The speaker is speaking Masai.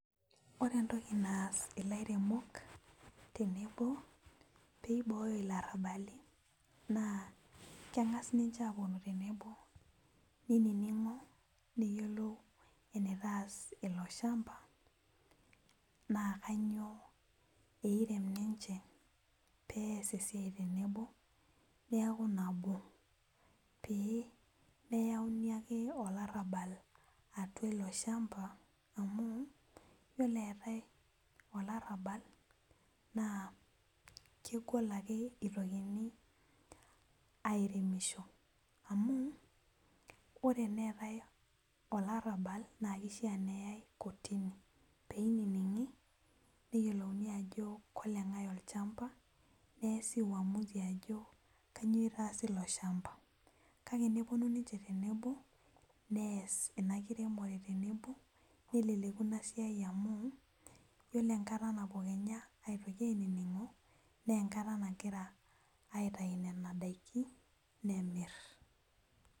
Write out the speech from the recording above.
Ore entoki naas ilaremok tenebo peiboo larabali na kengasa ninche aponu tenebo neiningo neyiolo enitaas ilo shamba na kanyio eirem ninche pemeyauni ake olarabal olchamba amu yiolobeetae olarabal na kegol ake itokini aremisho na ore tenetae olarabal na kishaa peyae kotini peininingi ajo kolengae olchamba kanyio itaasi ilo shamba kake neponu nche tenebo neji kanyio itaasi ilo shamba enkiremore tenebo amu ore enkata napuoi ainingo na enkata naouoi aitau ndakin nemir.